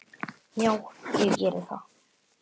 Já, ég geri það